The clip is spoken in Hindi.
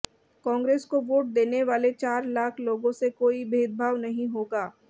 कांग्रेस को वोट देने वाले चार लाख लोगों से कोई भेदभाव नहीं होगा